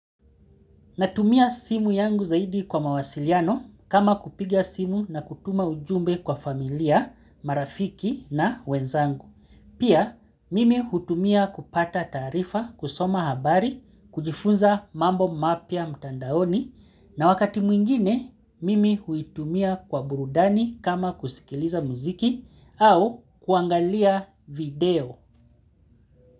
Natumia simu yangu zaidi kwa mawasiliano kama kupiga simu na kutuma ujumbe kwa familia, marafiki na wenzangu. Pia mimi hutumia kupata taarifa, kusoma habari, kujifunza mambo mapia mtandaoni na wakati mwingine mimi huitumia kwa burudani kama kusikiliza muziki au kuangalia video.